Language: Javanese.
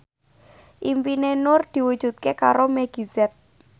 impine Nur diwujudke karo Meggie Z